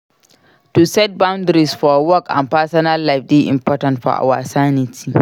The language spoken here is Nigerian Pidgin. To set boundaries for work and personal life dey important for our sanity.